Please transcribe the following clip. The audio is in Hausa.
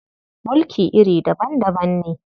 Mulki iri daban-daban ne.